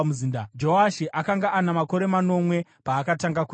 Joashi akanga ana makore manomwe paakatanga kutonga.